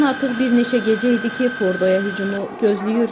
İran artıq bir neçə gecə idi ki, Fordoya hücumu gözləyirdi.